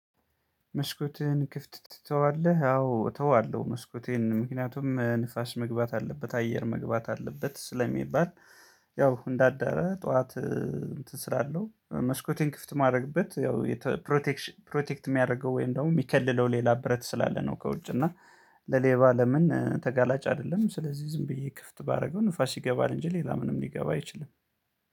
መስኮትህን ክፍት ትተዋለህ አዎ እተዋለሁ መስኮቴን ምክንያቱም ንፋሽ መግባት አለበት አየር መግባት አለበት ስለሚባል። ያው እንደ አዳደረ ጠዋት እንትን ስላለው መስኮቴን ክፍት የማረግበት ያው ፕሮቴክሽን ፕሮቴክት የሚያደርገው ወይም ደግሞ የሚከለለው ሌላ ብረት ስላለ ነው ከውጭ እና ለሌባ ለምን ተጋላጭ አይደለም? ስለዚህ ዝም ብዬ ክፍት ባደርገው ንፋስ ይገባል እንጂ ሌላ ምንም ሊገባ አይችልም።